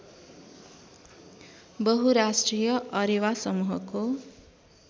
बहुराष्ट्रिय अरेवा समूहको